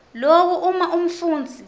loku uma umfundzi